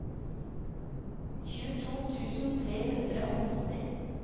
tjueto tusen tre hundre og nitti